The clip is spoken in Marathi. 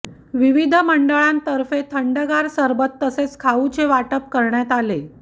विविध मंडळांतर्फे थंडगार सरबत तसेच खाऊचे वाटप करण्यात आले